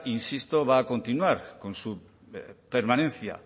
insisto va a continuar con su permanencia